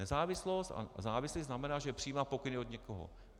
Nezávislost a závislost znamená, že přijímá pokyny od někoho.